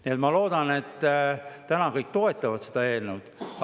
Nii et ma loodan, et kõik toetavad täna seda eelnõud.